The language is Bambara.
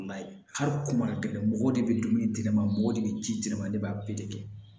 Hali kuma gɛlɛn mɔgɔw de bɛ dumuni di ne ma mɔgɔ de bɛ ji di ne ma ne b'a kɛ